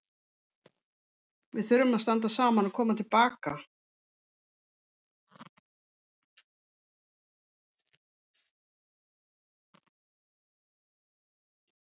Við þurfum að standa saman og koma til baka.